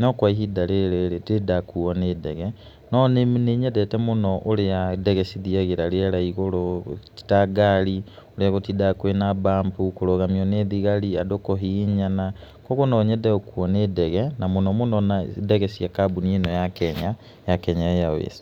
no kwa ihinda rĩrĩ ndirĩ ndakuo nĩ ndege, no nĩ nyendete mũno ũrĩa ndege cithiagĩra rĩera igũrũ ti ta ngari ũrĩa gũtindaga kwĩna mbambu kũrũgamio nĩ thigari, andũ kũhihinyana, ũguo o nyende gũkuo nĩ ndege, na mũno mũno ndege cia kambuni ĩno ya Kenya ya Kenya Airways.